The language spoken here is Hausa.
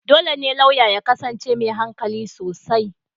Dole ne lauya ya kasance mai hankali sosai.